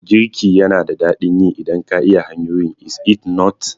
Girki yana da daɗin yi idan ka iya hanyoyin, is it not?